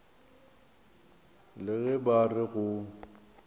le ge ba re go